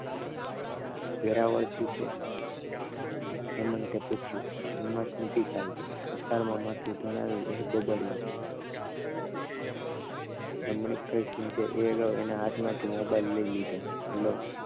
વેરાવળ થી છે હેમંત પૂછ્યું હિંમત નથી ચાલતી હકારમાં માથું ધુણાવ્યું તે બબડ્યો રમણીકભાઈ સુઈ જા એ અગાઉ તેના હાથમાંથી મોબાઇલ લઇ લીધો હેલો